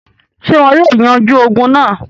Ṣé wọn yóò yanjú ogun náà?